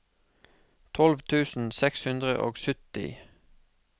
tolv tusen seks hundre og sytti